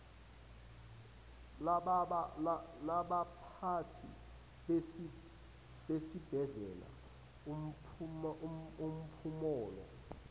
labaphathi besibhedlela umphumulo